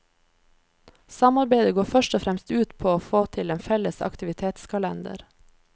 Samarbeidet går først og fremst ut på å få til en felles aktivitetskalender.